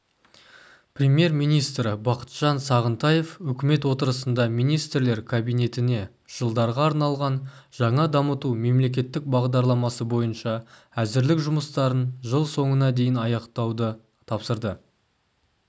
премьер-министрі бақытжан сағынтаев үкімет отырысында министрлер кабинетіне жылдарға арналған жаңа дамыту мемлекеттік бағдарламасы бойынша әзірлік жұмыстарын жыл соңына дейін аяқтауды тапсырды